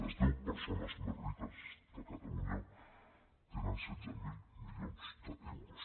les deu persones més riques de catalunya tenen setze mil milions d’euros